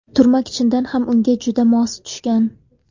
Turmak chindan ham unga juda mos tushgan.